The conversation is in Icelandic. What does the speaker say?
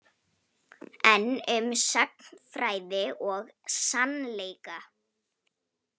Enn um sagnfræði og sannleika